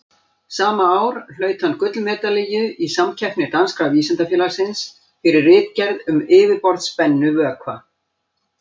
Sama ár hlaut hann gullmedalíu í samkeppni Danska vísindafélagsins, fyrir ritgerð um yfirborðsspennu vökva.